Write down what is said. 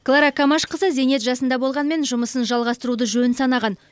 клара камашқызы зейнет жасында болғанымен жұмысын жалғастыруды жөн санаған